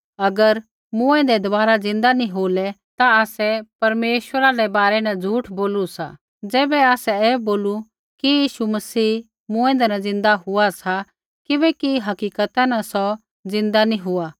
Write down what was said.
अगर मूँऐंदै दबारा ज़िन्दा नी होलै ता आसै परमेश्वरा रै बारै न झूठ बोलू सा ज़ैबै आसै ऐ बोलू कि यीशु मसीह मूँऐंदै न ज़िन्दा हुआ सा ज़ैबैकि हकीकता न सौ ज़िन्दा नी हुआ